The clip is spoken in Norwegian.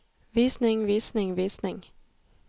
visning visning visning